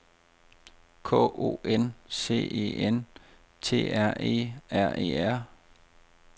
K O N C E N T R E R E R